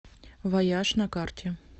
вояж на карте